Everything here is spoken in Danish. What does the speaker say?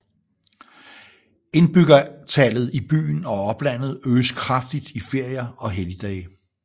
Indbyggertallet i byen og oplandet øges kraftigt i ferier og helligdage